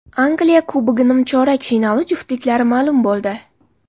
Angliya Kubogi nimchorak finali juftliklari ma’lum bo‘ldi .